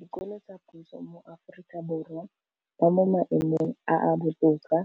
dikolo tsa puso mo Aforika Borwa ba mo maemong a a botoka